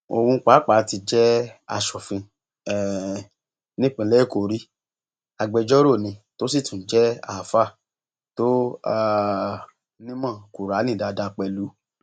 òun pàápàá ti jẹ aṣòfin um nípínlẹ èkó rí agbẹjọrò ni tó sì tún jẹ alfaa tó um nímọ kùrààní dáadáa pẹlú